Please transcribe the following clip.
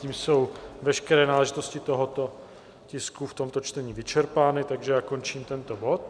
Tím jsou veškeré náležitosti tohoto tisku v tomto čtení vyčerpány, takže já končím tento bod.